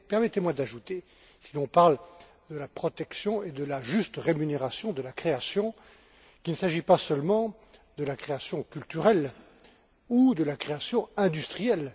Mais permettez moi d'ajouter, si l'on parle de la protection et de la juste rémunération de la création, qu'il ne s'agit pas seulement de la création culturelle ou de la création industrielle.